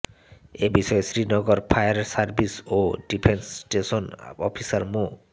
এ বিষয়ে Srinagar fire service ও defence station officer মো